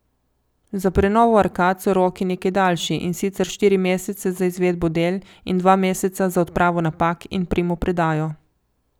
Za prenovo arkad so roki nekaj daljši, in sicer štiri mesece za izvedbo del in dva meseca za odpravo napak in primopredajo.